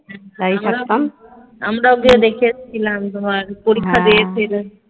আমরাও গিয়ে দেখেছিলাম ঘর পরীক্ষা দিয়েছিল